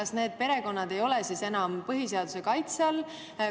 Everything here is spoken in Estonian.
Kas need perekonnad ei ole siis enam põhiseaduse kaitse all?